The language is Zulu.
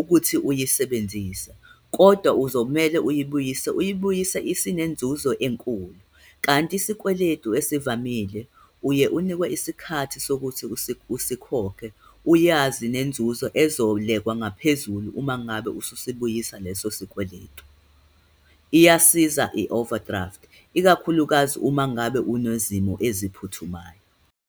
ukuthi uyisebenzise, kodwa uzomele uyibuyise, uyibuyise isinenzuzo enkulu. Kanti isikweletu ezivamile, uye unikwe isikhathi sokuthi usikhokhe, uyazi nenzuzo ezolekwa ngaphezulu umangabe ususibuyisa leso sikweletu. Iyasiza i-overdraft, ikakhulukazi uma ngabe unezimo eziphuthumayo.